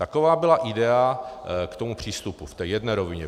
Taková byla idea k tomu přístupu v té jedné rovině.